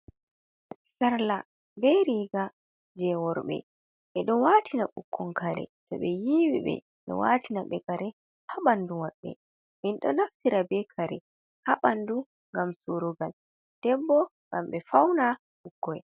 Sarla be riga jeworɓe. Be ɗo watina ɓukkon kare to ɓe yiwi ɓe. Be ɗo watina be kare ha banɗu wabɓe. Min ɗo naffira be kare ha banɗu ngam surugal. Ɗebbo ngam be fauna ɓukkoi.